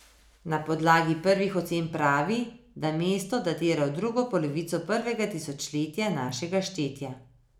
Na podlagi prvih ocen pravi, da mesto datira v drugo polovico prvega tisočletja našega štetja.